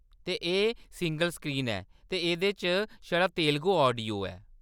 ते एह्‌‌ single screen ऐ ते एह्‌‌‌दे च छड़ा तेलुगु ऑडियो ऐ।